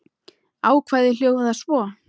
Ákvæðið hljóðar svo